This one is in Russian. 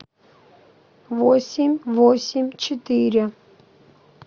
восемь восемь четыре